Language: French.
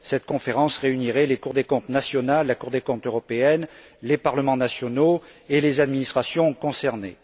Cette conférence réunirait les cours des comptes nationales, la Cour des comptes européenne, les parlements nationaux et les administrations concernées.